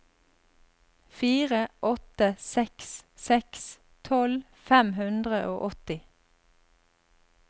fire åtte seks seks tolv fem hundre og åtti